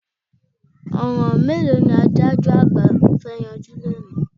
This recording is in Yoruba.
Ọ̀ràn mélòó ni adájọ́ àgbà fẹ́ yanjú lónìí?